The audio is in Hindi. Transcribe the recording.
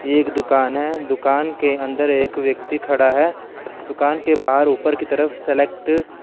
एक दुकान है दुकान के अंदर एक व्यक्ति खड़ा है दुकान के बाहर उपर की तरफ सेलेक्ट --